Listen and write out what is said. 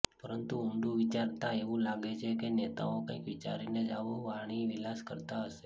પરંતુ ઊંડું વિચારતા એવું લાગ છે કે નેતાઓ કંઈક વિચારીને જ આવો વાણીવિલાસ કરતા હશે